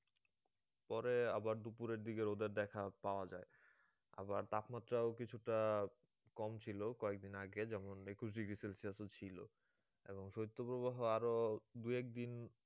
পরে আবার দুপুরের দিকে রোদের দেখা পাওয়া যায় আবার তাপমাত্রাও কিছুটা কম ছিল কয়েকদিন আগে যেমন একুশ degree celsius ও ছিল, এবং শৈত্যপ্রবাহ আরো দুই এক দিন